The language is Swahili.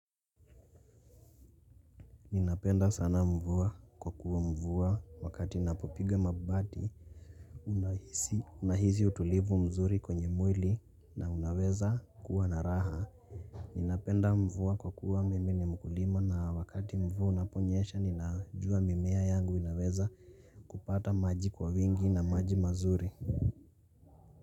Ninapenda sana mvua kwa kuwa mvua wakati napopiga mabati unahisi utulivu mzuri kwenye mwili na unaweza kuwa naraha Ninapenda mvua kwa kuwa mimi ni mkulima na wakati mvua unaponyesha ninajua mimea yangu inaweza kupata maji kwa wingi na maji mazuri.